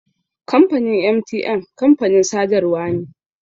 Kamfanin MTN kamfanin sadarwa ne.